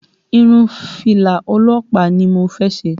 Irun fìlà ọlọ́pàá ni mo fẹ́ ṣe